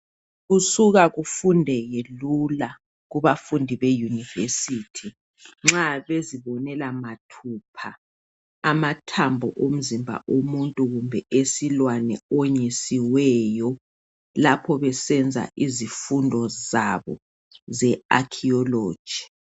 Kusuka kufundeke lula kubafundi be university nxa bezibonela mathupha amathambo omzimba omuntu kumbe esilwane onyisiweyo lapho besenza izifundo zabo ze-archeololgy.